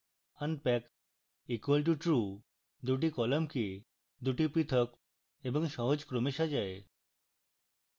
unpack equal two true দুটি কলামকে দুটি পৃথক এবং সহজ ক্রমে সাজায়